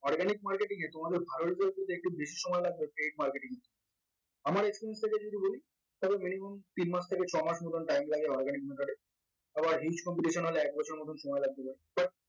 organic marketing এ তোমাদের একটু বেশি সময় লাগবে paid marketing এর চে আমার experience থেকে যদি বলি তাহলে minimum তিন মাস থেকে ছমাস মতন time লাগে organic method আবার huge competition হলেএক বছরের মত সময় লাগতে পারে